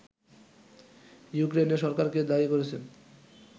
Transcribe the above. ইউক্রেনের সরকারকে দায়ী করেছেন